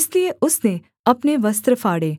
इसलिए उसने अपने वस्त्र फाड़े